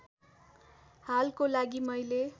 हालको लागि मैले